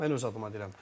Mən öz adıma deyirəm.